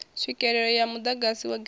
tswikelele ya muḓagasi wa grid